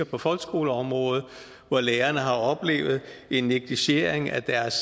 på folkeskoleområdet hvor lærerne har oplevet en negligering af deres